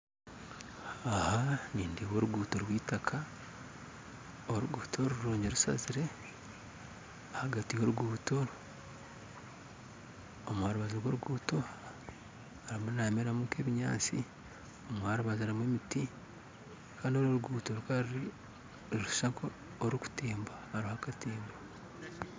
Nindeeba oruguuto rwitaka oruguuto rurungi rushazire ahagati yoruguuto harimu nihameramu ebinyatsi aharubaju hariho emiti Kandi orunoruguudo nirushusha nkoruri kutemba hariho akatembo